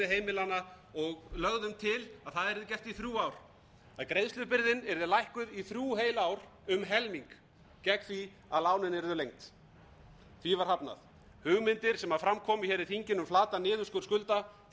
heimilanna og lögðum til að það yrði gert í þrjú ár að greiðslubyrðin yrði lækkuð í þrjú heil ár um helming gegn því að lánin yrðu lengd því var hafnað hugmyndir sem fram komu hér í þinginu um flatan niðurskurð skulda voru slegnar út